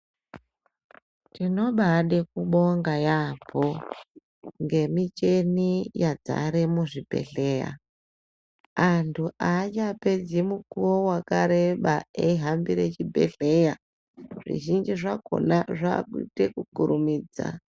Tinobaade kubonga yaambo ngemicheni yadzare muzvibhedhleya. Antu haachapedzi mukuwo wakareba eihambire chibhehleya, zvizhinji zvakona zvaakuite kukurumidza.